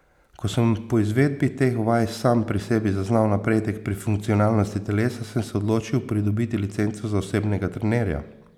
Ko sem po izvedbi teh vaj sam pri sebi zaznal napredek pri funkcionalnosti telesa, sem se odločil pridobiti licenco za osebnega trenerja.